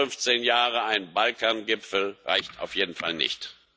Alle 15 Jahre ein Balkangipfel reicht auf jeden Fall nicht.